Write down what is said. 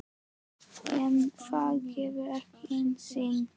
En það gekk ekki einu sinni.